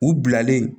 U bilalen